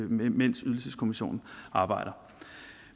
mens ydelseskommissionen arbejder